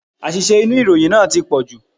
Àṣìṣe inú ìròyìn náà tí pọ̀jù.